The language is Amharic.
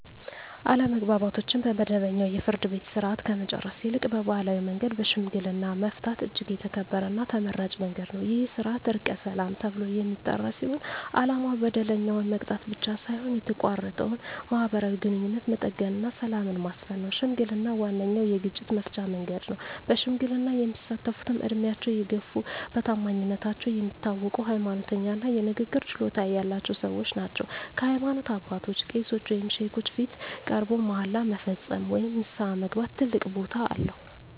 አለመግባባቶችን በመደበኛው የፍርድ ቤት ሥርዓት ከመጨረስ ይልቅ በባሕላዊ መንገድ በሽምግልና መፍታት እጅግ የተከበረና ተመራጭ መንገድ ነው። ይህ ሥርዓት "ዕርቀ ሰላም" ተብሎ የሚጠራ ሲሆን፣ ዓላማው በደለኛውን መቅጣት ብቻ ሳይሆን የተቋረጠውን ማኅበራዊ ግንኙነት መጠገንና ሰላምን ማስፈን ነው። ሽምግልና ዋነኛው የግጭት መፍቻ መንገድ ነው። በሽምግልና የሚሳተፍትም ዕድሜያቸው የገፋ፣ በታማኝነታቸው የሚታወቁ፣ ሃይማኖተኛ እና የንግግር ችሎታ ያላቸው ሰዎች ናቸው። በሃይማኖት አባቶች (ቄሶች ወይም ሼኮች) ፊት ቀርቦ መሃላ መፈጸም ወይም ንስሐ መግባት ትልቅ ቦታ አለው።